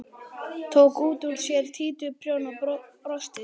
Tók út úr sér títuprjón og brosti.